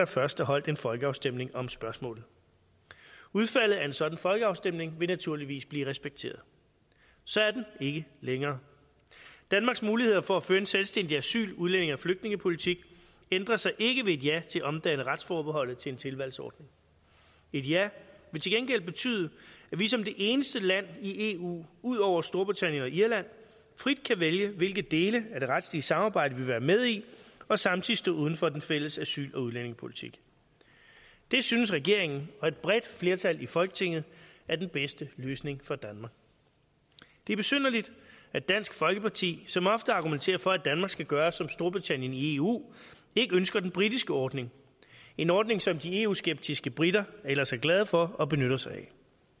først er holdt en folkeafstemning om spørgsmålet udfaldet af en sådan folkeafstemning vil naturligvis blive respekteret så er den ikke længere danmarks muligheder for at føre en selvstændig asyl udlændinge og flygtningepolitik ændrer sig ikke ved et ja til at omdanne retsforbeholdet til en tilvalgsordning et ja vil til gengæld betyde at vi som det eneste land i eu ud over storbritannien og irland frit kan vælge hvilke dele af det retlige samarbejde vi vil være med i og samtidig stå uden for den fælles asyl og udlændingepolitik det synes regeringen og et bredt flertal i folketinget er den bedste løsning for danmark det er besynderligt at dansk folkeparti som ofte argumenterer for at danmark skal gøre som storbritannien i eu ikke ønsker den britiske ordning en ordning som de eu skeptiske briter ellers er glade for og benytter sig af